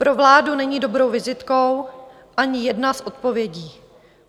Pro vládu není dobrou vizitkou ani jedna z odpovědí.